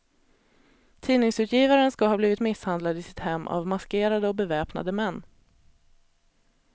Tidningsutgivaren ska ha blivit misshandlad i sitt hem av maskerade och beväpnade män.